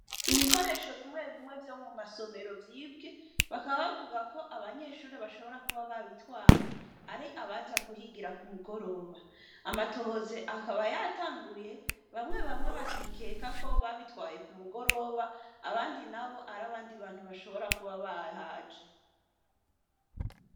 Ibikoresho bimwe bimwe vyo mu masomero vyibwe bakabavuga ko abanyeshuri bashobora kuba babitwaye ari abaza kuhigira ku mugoroba amatohoze akaba yatanguye bamwe bamwe bakikeka ko babitwaye ku mugoroba abandi na bo ari abandi bantu bashobora kuba bahaje.